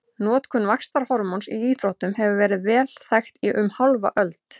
Notkun vaxtarhormóns í íþróttum hefur verið vel þekkt í um hálfa öld.